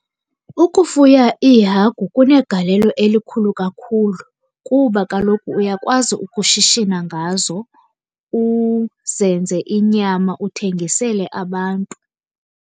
Ukufuya iihagu kunegalelo elikhulu kakhulu, kuba kaloku uyakwazi ukushishina ngazo uzenze inyama uthengisele abantu.